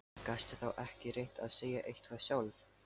Gastu þá ekki reynt að segja eitthvað sjálf?